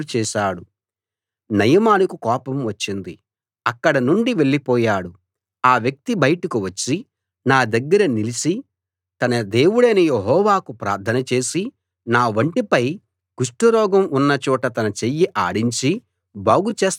నయమానుకు కోపం వచ్చింది అక్కడ నుండి వెళ్ళిపోయాడు ఆ వ్యక్తి బయటకు వచ్చి నా దగ్గర నిలిచి తన దేవుడైన యెహోవాకు ప్రార్థన చేసి నా వంటిపై కుష్టురోగం ఉన్న చోట తన చెయ్యి ఆడించి బాగు చేస్తాడనుకున్నాను